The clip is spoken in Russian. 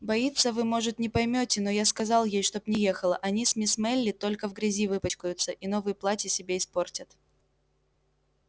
боится вы может не поймёте но я сказал ей чтоб не ехала они с мисс мелли только в грязи выпачкаются и новые платья себе испортят